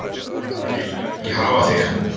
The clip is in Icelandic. Við viljum ekki hafa þig.